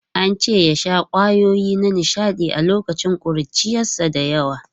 An ce ya sha kwayoyi na nishaɗi a lokacin ƙuruciyarsa da yawa.